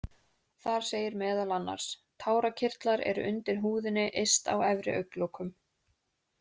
Þar segir meðal annars: Tárakirtlar eru undir húðinni yst á efri augnlokum.